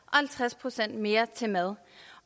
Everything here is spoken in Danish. og halvtreds procent mere til mad